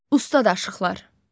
Ustad aşıqlar.